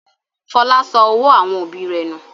Fọlá sọ owó àwọn òbí rẹ̀ nù.